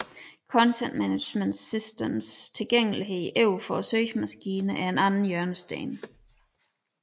Content Management Systemets tilgængelighed over for søgemaskinerne er den anden hjørnesten